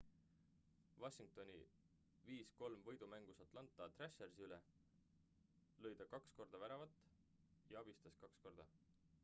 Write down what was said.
washingtoni 5 : 3 võidumängus atlanta thrashersi üle lõi ta kaks väravat ja abistas kaks korda